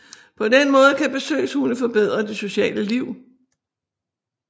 På den måde kan besøgshunde forbedre det sociale liv